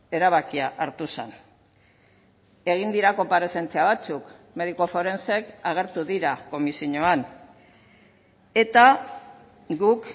erabakia hartu zen egin dira konparezentzia batzuk mediku forenseek agertu dira komisioan eta guk